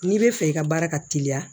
N'i bɛ fɛ i ka baara ka teliya